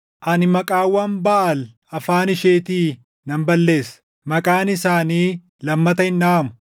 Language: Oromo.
Ani maqaawwan Baʼaal afaan isheetii nan balleessa; maqaan isaanii lammata hin dhaʼamu.